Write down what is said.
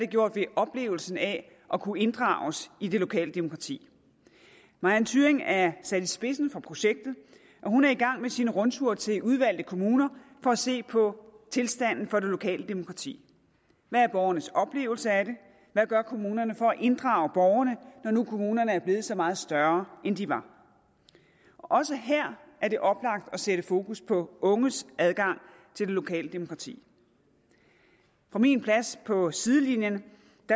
gjort ved oplevelsen af at kunne inddrages i det lokale demokrati marianne thyrring er sat i spidsen for projektet og hun er i gang med sin rundtur til udvalgte kommuner for at se på tilstanden for det lokale demokrati hvad er borgernes oplevelse af det hvad gør kommunerne for at inddrage borgerne når nu kommunerne er blevet så meget større end de var også her er det oplagt at sætte fokus på unges adgang til det lokale demokrati fra min plads på sidelinjen